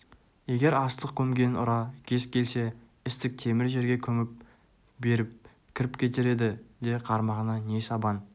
егер астық көмген ұра кез келсе істік темір жерге күмп беріп кіріп кетер еді де қармағына не сабан